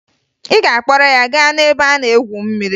Ị ga-akpọrọ ya gaa n'ebe a na-egwu mmiri!